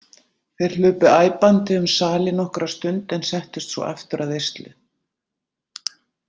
Þeir hlupu æpandi um sali nokkra stund en settust svo aftur að veislu.